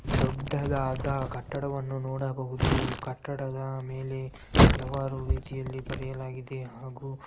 ದೊಡ್ಡದಾದ ಕಟ್ಟಡವನ್ನು ನೋಡಬಹುದು ಕಟ್ಟಡದ ಮೇಲೆ ಹಲವಾರು ರಿತಿಯಲ್ಲಿ ಬರೆಯಲಾಗಿದೆ ಹಾಗು --